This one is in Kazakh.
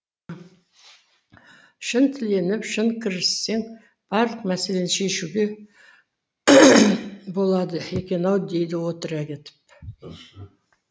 шын тіленіп шын кіріссең барлық мәселені шешуге болады екен ау деді отыра кетіп